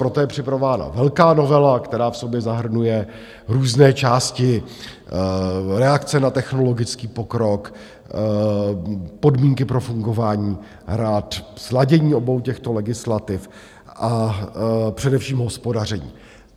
Proto je připravována velká novela, která v sobě zahrnuje různé části reakce na technologický pokrok, podmínky pro fungování rad, sladění obou těchto legislativ a především hospodaření.